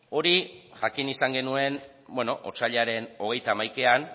hori jakin izan genuen otsailaren hogeita hamaikaean